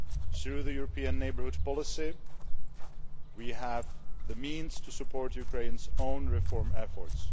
so. Through the European neighbourhood policy, we have the means to support Ukraine's own reform efforts.